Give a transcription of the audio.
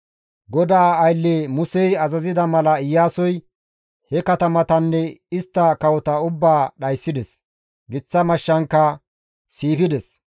GODAA aylle Musey azazida mala Iyaasoy he katamatanne istta kawota ubbaa dhayssides; giththa mashshankka siifides.